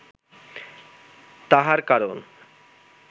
তাহার কারণ